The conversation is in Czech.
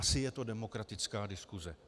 Asi je to demokratická diskuse.